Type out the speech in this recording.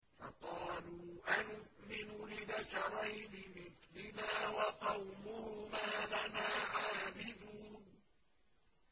فَقَالُوا أَنُؤْمِنُ لِبَشَرَيْنِ مِثْلِنَا وَقَوْمُهُمَا لَنَا عَابِدُونَ